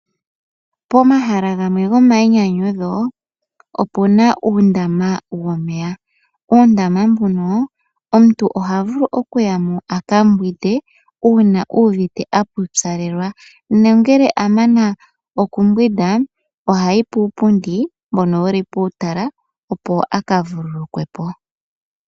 Pomahala gamwe gomayinyanyudho opuna uundama womeya nomuundama muka omuntu ohavulu okuyamo akambwinde uuna uuvite apupyalelwa nangele amana okumbwinda ohayi puupundi mboka wuli muutala opo aka vululukwepo.